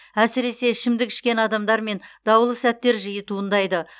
әсіресе ішімдік ішкен адамдармен даулы сәттер жиі туындайды